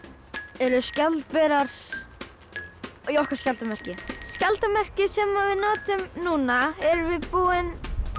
eru skjaldberar í okkar skjaldarmerki skjaldarmerkið sem við notum núna erum við búin